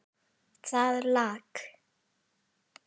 Það lak.